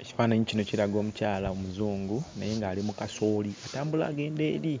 Ekifaananyi kino kiraga omukyala omuzungu naye ng'ali mu kasooli, atambula agenda eri